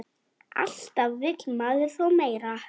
Alltaf vill maður þó meira.